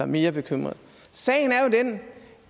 mere bekymret sagen er jo den